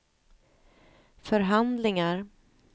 förhandlingar